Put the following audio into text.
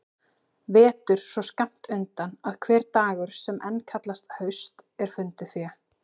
Vetur svo skammt undan að hver dagur sem enn kallast haust er fundið fé.